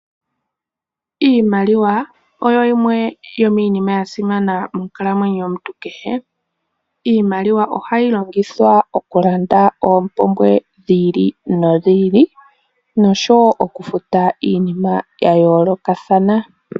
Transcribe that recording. Iimaliwa oyo yimwe yomiinima yasimana monkalamwenyo yomuntu kehe. Ohayi longithwa okulanda oompumbwe dhi ili nodhi ili nosho woo oku futa iinima yayoolokathana.